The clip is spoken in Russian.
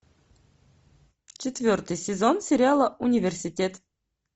четвертый сезон сериала университет